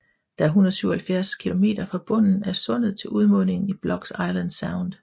Der er 177 kilometer fra bunden af sundet til udmundingen i Block Island Sound